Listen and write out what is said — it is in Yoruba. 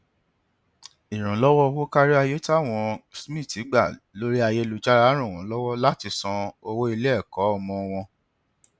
ìrànlọwọ owó kárí ayé tí àwọn smith gba lórí ayélujára ran wọn lọwọ láti san owó iléẹkọ ọmọ wọn